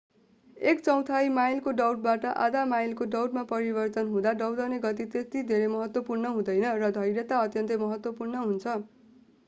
एक चौथाइ माइलको दौडबाट आधा माइलको दौडमा परिवर्तन हुँदा दौडने गति त्यति धेरै महत्त्वपूर्ण हुँदैन र धैर्यता अत्यन्तै महत्त्वपूर्ण हुन्छ